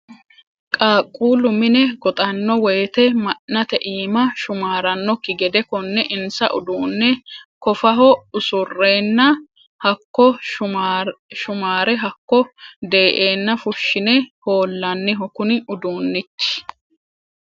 Qaaqqulu mine goxano woyte ma'nate iima shumaranokki gede kone insa uduune kofaho usurenna hakko sumare hakko dee'enna fushine ho'laniho kuni uduunchi.